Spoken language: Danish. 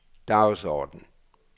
dagsorden